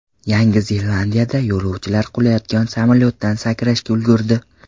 Yangi Zelandiyada yo‘lovchilar qulayotgan samolyotdan sakrashga ulgurdi.